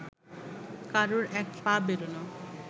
কারোর এক পা বেরোনো